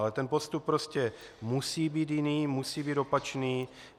Ale ten postup prostě musí být jiný, musí být opačný.